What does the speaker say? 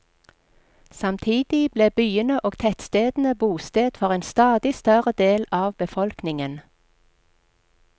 Samtidig ble byene og tettstedene bosted for en stadig større del av befolkningen.